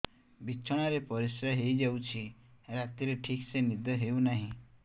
ବିଛଣା ରେ ପରିଶ୍ରା ହେଇ ଯାଉଛି ରାତିରେ ଠିକ ସେ ନିଦ ହେଉନାହିଁ